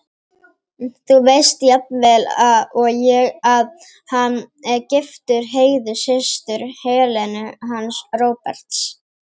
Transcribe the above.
Þú veist jafnvel og ég að hann er giftur Heiðu, systur Helenu hans Róberts.